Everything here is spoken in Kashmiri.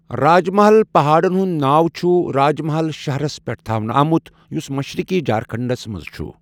راج محل پہاڑَن ہنٛد ناو چُھ راج محل شہرس پٮ۪ٹھ تھاونہٕ آمُت یُس مشرِقی جھارکھنٛڈس منٛز چُھ.